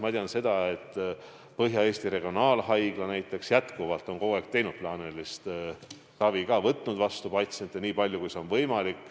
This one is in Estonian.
Ma tean seda, et näiteks Põhja-Eesti Regionaalhaigla on kogu aeg teinud edasi ka plaanilist ravi ja võtnud patsiente vastu nii palju kui võimalik.